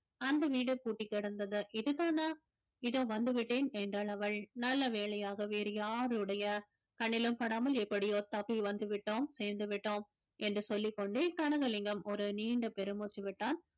அந்த வீடு பூட்டிக் கிடந்தது இதுதானா இதோ வந்துவிட்டேன் என்றாள் அவள் நல்ல வேலையாக வேறு யாருடைய கண்ணிலும் படாமல் எப்படியோ தப்பி வந்துவிட்டோம் சேர்ந்து விட்டோம் என்று சொல்லிக்கொண்டே கனகலிங்கம் ஒரு நீண்ட பெருமூச்சு விட்டான்